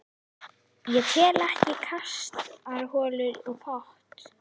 Ég tel ekki kastarholu og pott.